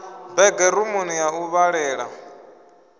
bege rumuni ya u vhalela